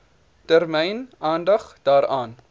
termyn aandag daaraan